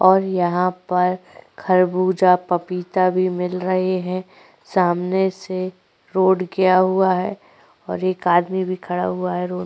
और यहाँ पर खरबूजा पपीता भी मिल रहे है सामने से रोड गया हुआ है और एक आदमी भी खड़ा हुआ है रो --